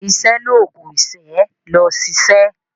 Iṣẹ́ l'oògùn ìṣẹ́. lọ ṣiṣẹ́!